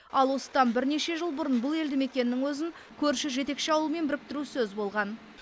ал осыдан бірнеше жыл бұрын бұл елді мекеннің өзін көрші жетекші ауылмен біріктіру сөз болған